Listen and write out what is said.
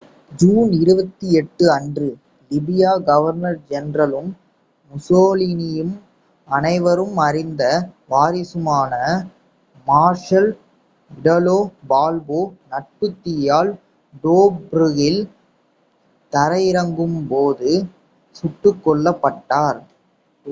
June 28 அன்று லிபிய governor ஜெனரலும் முசோலினியின் அனைவரும் அறிந்த வாரிசுமான மார்ஷல் இடாலோ பால்போ நட்பு தீயால் டோப்ரூக்கில் தரையிறங்கும் போது சுட்டுக் கொல்லப்பட்டார்